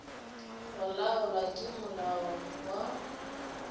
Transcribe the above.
go laolwa ke molao wa